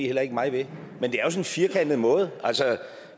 heller ikke mig ved men det er jo sådan en firkantet måde